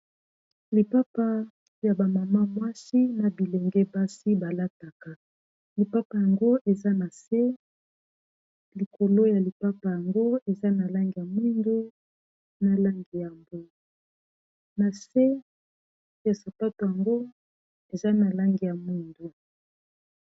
lipapa ya bamama mwashi na bilenge basi balataka lipapa yango eza na se likolo ya lipapa yango eza na langi ya mwindu na langi ya mbo na se ya sapato yango eza na langi ya mwindu